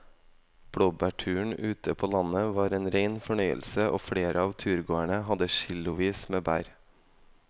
Blåbærturen ute på landet var en rein fornøyelse og flere av turgåerene hadde kilosvis med bær.